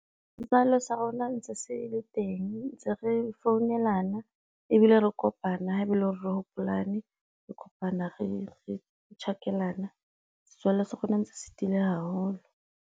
Setswalle sa rona ntse se le teng ntse re founelana ebile re kopana ha e be e le hore re hopolane, re kopana re tjhakelana setswalle sa rona ntse se tiile haholo.